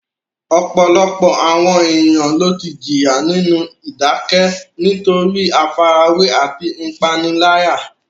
Ọ̀pọ̀lọpọ̀ àwọn ènìyàn ló ti jìyà nínú ìdákẹ́ nítorí àfarawé àti ìpániláyà.